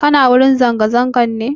Kuna wurin zanga-zangan ne?